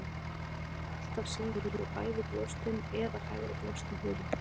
Á myndum eru þær þó alltaf sýndar með bæði brjóstin eða hægra brjóstið hulið.